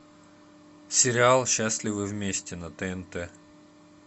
сериал счастливы вместе на тнт